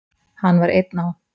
Hann var einn á